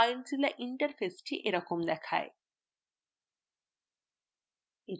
filezilla interface এরকম দেখায়